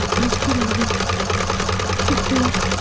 Ég tók því.